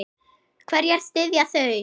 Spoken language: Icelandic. Hverja styðja þau?